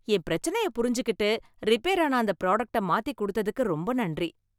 என் பிரச்சனைய புரிஞ்சுக்கிட்டு ரிப்பேரான அந்த ப்ராடக்ட்ட மாத்திக் கொடுத்ததுக்கு ரொம்ப நன்றி